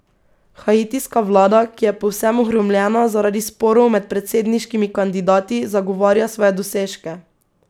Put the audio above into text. Haitijska vlada, ki je povsem ohromljena zaradi sporov med predsedniškimi kandidati, zagovarja svoje dosežke.